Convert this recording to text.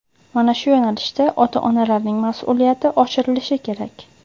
mana shu yo‘nalishda ota-onalarning masʼuliyati oshirilishi kerak.